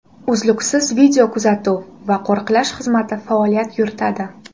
Uzluksiz videokuzatuv va qo‘riqlash xizmati faoliyat yuritadi.